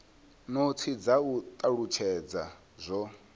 notsi dza u talutshedza zwo